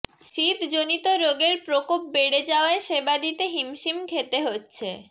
শীতজনিত রোগের প্রকোপ বেড়ে যাওয়ায় সেবা দিতে হিমশিম খেতে হচ্ছে